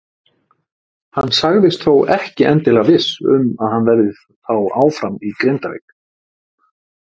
Hann sagðist þó ekki endilega viss um að hann verði þá áfram í Grindavík.